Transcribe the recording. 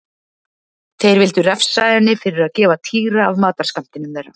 Þeir vildu refsa henni fyrir að gefa Týra af matarskammtinum þeirra.